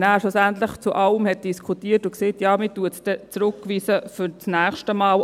Man diskutierte nachher über alles und sagte, dass man werde es zurückweisen, für das nächste Mal.